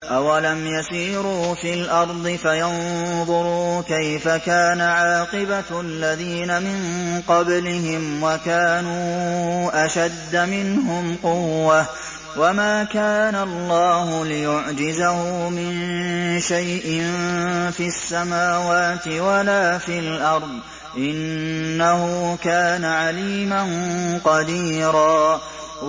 أَوَلَمْ يَسِيرُوا فِي الْأَرْضِ فَيَنظُرُوا كَيْفَ كَانَ عَاقِبَةُ الَّذِينَ مِن قَبْلِهِمْ وَكَانُوا أَشَدَّ مِنْهُمْ قُوَّةً ۚ وَمَا كَانَ اللَّهُ لِيُعْجِزَهُ مِن شَيْءٍ فِي السَّمَاوَاتِ وَلَا فِي الْأَرْضِ ۚ إِنَّهُ كَانَ عَلِيمًا قَدِيرًا